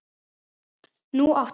Nú átti